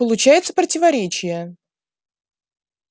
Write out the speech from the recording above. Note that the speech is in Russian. получается противоречие